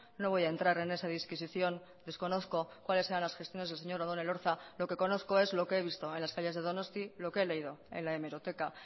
no voy a entrar en esa disquisición desconozco cuáles eran las gestiones del señor odón elorza lo que conozco es lo que he visto en las calles de donosti lo que he leído en la hemeroteca